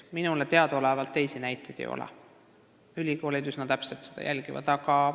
Minule teadaolevalt teisi näiteid ei ole, ülikoolid jälgivad olukorda üsna täpselt.